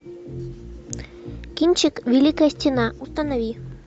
кинчик великая стена установи